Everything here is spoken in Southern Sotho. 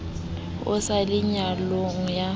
ho se le nyallano ya